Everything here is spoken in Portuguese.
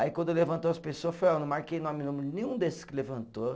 Aí quando levantou as pessoa, eu falei ó, eu não marquei nome e número nenhum desses que levantou.